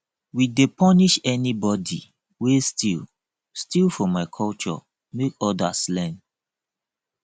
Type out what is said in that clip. we dey punish anybodi wey steal steal for my culture make odas learn